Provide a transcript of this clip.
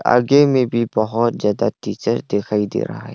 आगे में भी बहुत ज्यादा टीचर दिखाई दे रहा है।